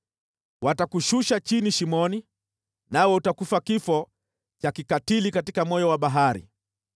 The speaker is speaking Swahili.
Watakushusha chini shimoni, nawe utakufa kifo cha kikatili katika moyo wa bahari.